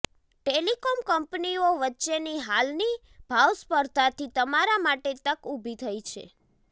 telecom કંપનીઓ વચ્ચેની હાલની ભાવસ્પર્ધાથી તમારા માટે તક ઊભી થઈ છે